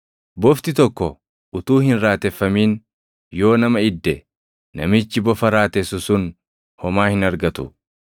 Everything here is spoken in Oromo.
Bofti tokko utuu hin raateffamin yoo nama idde, namichi bofa raatessu sun homaa hin argatu.